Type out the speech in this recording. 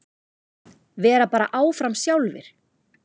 Vera bara áfram sjálfir.